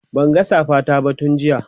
Banga safa ta ba tun jiya